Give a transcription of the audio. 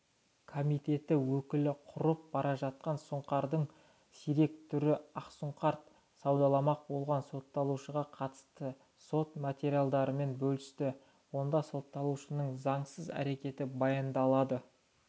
комитет өкілі құрып бара жатқан сұңқардың сирек түрі ақсұңқард саудаламақ болған сотталушыға қатысты сот материалдарымен бөлісті онда сотталушының заңсыз әрекеті баяндалады